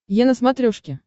е на смотрешке